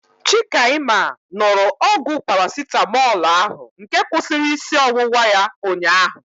Chikaima nụrụ ọgwụ Parasitamọlu ahu nke kwụsịrị isi ọwụwa ya ụnyaahụ